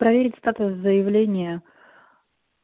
проверить статус заявления